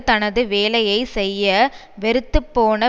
தனது வேலையை செய்ய வெறுத்து போன